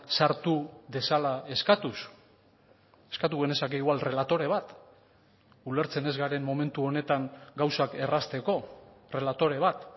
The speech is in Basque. sartu dezala eskatuz eskatu genezake igual relatore bat ulertzen ez garen momentu honetan gauzak errazteko relatore bat